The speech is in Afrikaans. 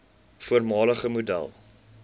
voormalige model